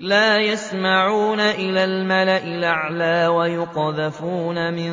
لَّا يَسَّمَّعُونَ إِلَى الْمَلَإِ الْأَعْلَىٰ وَيُقْذَفُونَ مِن